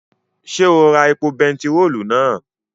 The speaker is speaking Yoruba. Ṣé o ra epo bentiróòlù náà?